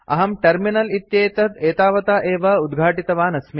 अहं टर्मिनल् इत्येतत् एतावता एव उद्घाटितवान् अस्मि